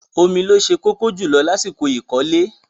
Omi ni ó se kókó jùlọ lásìkò ìkọ́lé.